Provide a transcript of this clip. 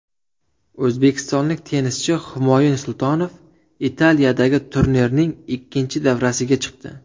O‘zbekistonlik tennischi Humoyun Sultonov Italiyadagi turnirning ikkinchi davrasiga chiqdi.